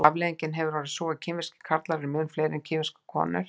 afleiðingin hefur orðið sú að kínverskir karlar eru mun fleiri en kínverskar konur